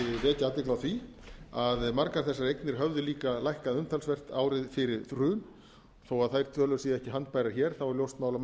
athygli á því að margar þessar eignir höfðu líka lækkað umtalsvert árið fyrir hrun þó þær tölur séu ekki handbærar hér þá er ljóst mál að mjög